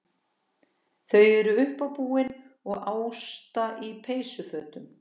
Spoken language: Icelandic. Þau eru uppábúin og Ásta í peysufötum.